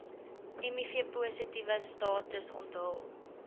mivpositiewe status onthul